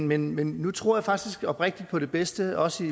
men men nu tror jeg faktisk oprigtigt på det bedste også